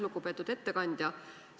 Lugupeetud ettekandja!